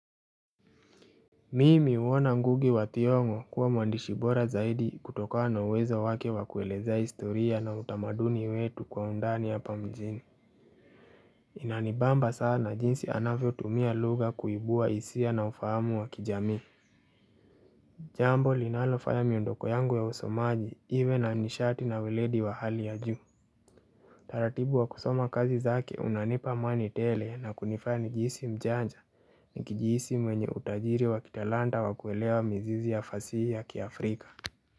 Mimi uona ngugi wa thiong'o kuwa mwandishi bora zaidi kutokana na uwezo wake wa kueleza historia na utamaduni wetu kwa undani ya hapa mijini Inanibamba sana jinsi anavyo tumia lugha kuibua isia na ufahamu wa kijamii Jambo linalofanya miondoko yangu ya usomaji iwe na nishati na weledi wa hali ya juu taratibu wa kusoma kazi zake unanipa mani tele na kunifani jisi mjanja ni kijisi mwenye utajiri wa kitalanta wa kuelewa mizizi ya fasi ya kiafrika.